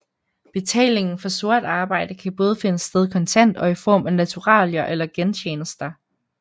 Betalingen for sort arbejde kan både finde sted kontant og i form af naturalier eller gentjenester